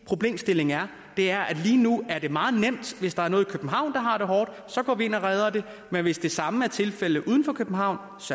problemstilling er det er at lige nu er det meget nemt hvis der er noget i københavn der har det hårdt så går vi ind og redder det men hvis det samme er tilfældet uden for københavn